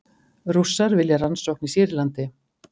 Rússar vilja rannsókn í Sýrlandi